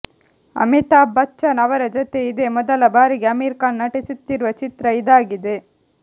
ಅಮಿತಾಭ್ ಬಚ್ಚನ್ ಅವರ ಜೊತೆ ಇದೇ ಮೊದಲ ಬಾರಿಗೆ ಆಮೀರ್ ಖಾನ್ ನಟಿಸುತ್ತಿರುವ ಚಿತ್ರ ಇದಾಗಿದೆ